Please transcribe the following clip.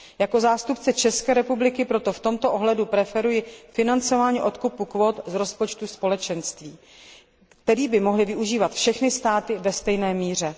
Jako zástupce České republiky proto v tomto ohledu preferuji financování odkupu kvót z rozpočtu Společenství, který by mohly využívat všechny státy ve stejné míře.